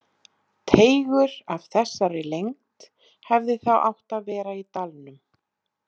Teigur af þessari lengd hefði þá átt að vera í dalnum.